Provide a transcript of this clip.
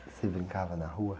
Você brincava na rua?